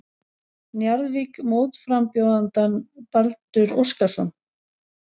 Njarðvík mótframbjóðandann Baldur Óskarsson.